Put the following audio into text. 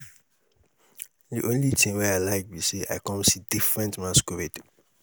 the only thing wey i like be say i come see different masquerade.